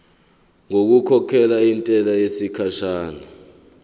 ngokukhokhela intela yesikhashana